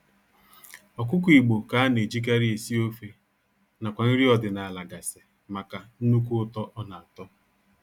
Ọkụkọ igbo ka a na-ejikarị esi ofe nakwa nri ọdịnaala gasị maka nnukwu ụtọ ọ na-atọ